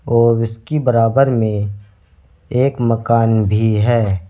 और विसकी बराबर में एक मकान भी है।